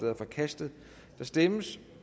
er forkastet der stemmes